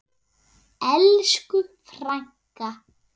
Elsku frænka!